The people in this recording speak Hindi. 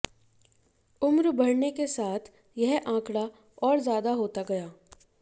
उम्र बढऩे के साथ यह आंकड़ा और ज्यादा होता गया